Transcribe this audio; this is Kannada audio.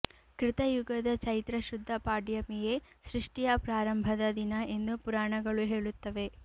ಕೃತ ಯುಗದ ಚೈತ್ರ ಶುದ್ಧ ಪಾಡ್ಯಮಿಯೇ ಸೃಷ್ಟಿಯ ಪ್ರಾರಂಭದ ದಿನ ಎಂದು ಪುರಾಣಗಳು ಹೇಳುತ್ತವೆ